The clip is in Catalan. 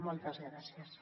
moltes gràcies